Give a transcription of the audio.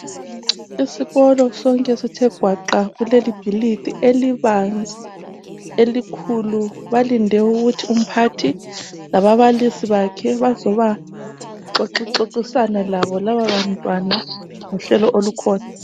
Isikolo sonke sithe gwaqa kulelibhilidi elibanzi elikhulu. Balinde ukuthi umphathi lababalisi bakhe bazoba xoxixoxisana labo lababantwana ngohlelo olukhona.